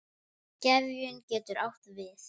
Gefjun getur átt við